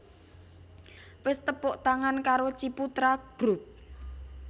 Wis tepuk tangan karo Ciputra Group